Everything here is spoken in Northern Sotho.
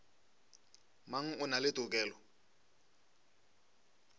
mang o na le tokelo